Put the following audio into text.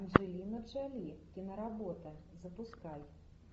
анджелина джоли киноработа запускай